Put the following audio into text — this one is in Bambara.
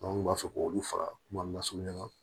kun b'a fɔ k'olu faga kuma na sungan